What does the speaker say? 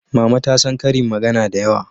Mama ta san ƙarin magana da yawa